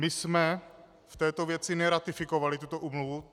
My jsme v této věci neratifikovali tuto úmluvu.